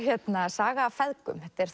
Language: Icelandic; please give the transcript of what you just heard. saga af feðgum þetta er